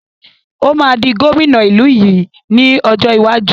Ó máa di gómìnà ìlú yìí ni ọjọ́ iwájú.